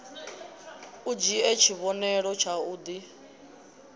u dzhie tshivhonelo tshau d